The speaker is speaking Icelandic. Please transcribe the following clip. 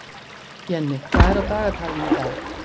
Jenni, hvað er á dagatalinu í dag?